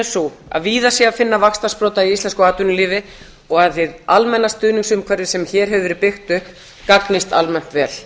sú að víða sé að finna vaxtarsprota í íslensku atvinnulífi og að hið almenna stuðningsumhverfi sem hér hefur verið byggt upp gagnist almennt vel